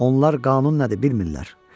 Onlar qanun nədir bilmirlər.